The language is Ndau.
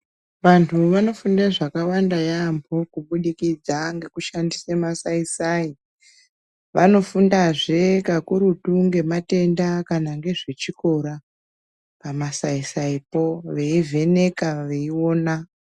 Vantu vanofunda zvakawanda yaambo kubudikidza ngekushandisa masai sai. Vanofundazve pakuru ngezvematenda kana ngezvechikora pamasaisaipo veivheneka veiona.